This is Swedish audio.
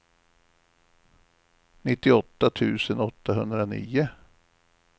nittioåtta tusen åttahundranio